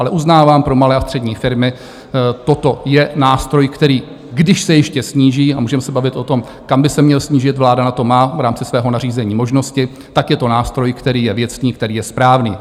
Ale uznávám, pro malé a střední firmy toto je nástroj, který když se ještě sníží - a můžeme se bavit o tom, kam by se měl snížit, vláda na to má v rámci svého nařízení možnosti - tak je to nástroj, který je věcný, který je správný.